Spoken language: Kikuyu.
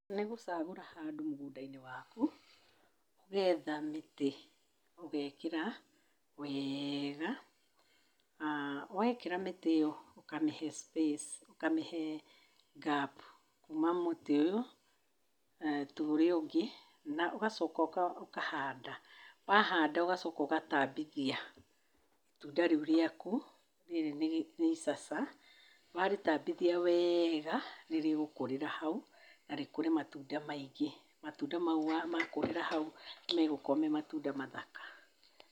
Nĩ gũcagũra handũ mũgũnda-inĩ waku nĩgetha mĩtĩ ũgekĩra weega, wekĩra mĩtĩ ĩyo, ũkamĩhe space, ũkamĩhe gap, kuma mũtĩ ũyũ tũũrĩa ũngĩ na ũgacoka ũkahanda, wahanda ũgacoka ũgatambithia itunda rĩu rĩaku rĩrĩ nĩ icaca. Warĩtambithia weega, nĩ rĩgũkũrĩra hau na rĩkũre matunda maingĩ. Matunda mau makũrĩra hau, nĩ megũkũra me matunda mathaka.